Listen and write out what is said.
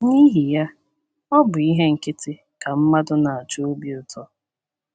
N’ihi ya, ọ bụ ihe nkịtị ka mmadụ na - achọ obi ụtọ.